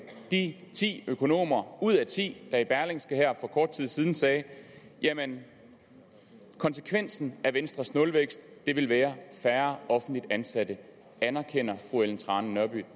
de ti økonomer ud af ti der i berlingske her for kort tid siden sagde jamen konsekvensen af venstres nulvækst vil være færre offentligt ansatte anerkender fru ellen trane nørby